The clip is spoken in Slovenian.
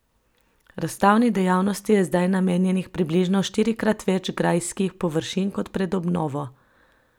Razstavni dejavnosti je zdaj namenjenih približno štirikrat več grajskih površin kot pred obnovo.